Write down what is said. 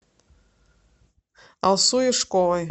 алсу юшковой